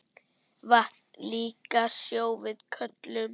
Vatn líka sjó við köllum.